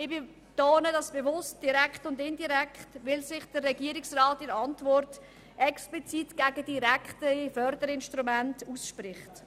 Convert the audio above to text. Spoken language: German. Ich betone bewusst «direkt» und «indirekt», weil sich der Regierungsrat in der Antwort explizit gegen direkte Förderinstrumente ausspricht.